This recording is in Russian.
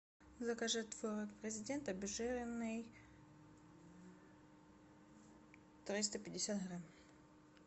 закажи творог президент обезжиренный триста пятьдесят грамм